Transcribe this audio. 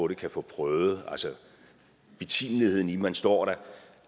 det kan få prøvet betimeligheden i at man står der